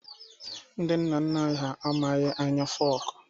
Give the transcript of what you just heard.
Ndị nna nna anyị ha amaghị anya fọku